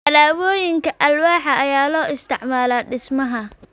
Alaabooyinka alwaaxda ayaa loo isticmaalaa dhismaha.